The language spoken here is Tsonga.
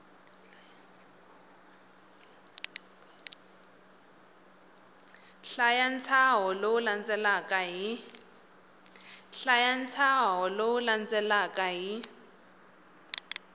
hlaya ntshaho lowu landzelaka hi